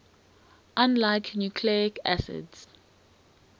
unlike nucleic acids